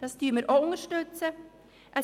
Das unterstützen wir auch.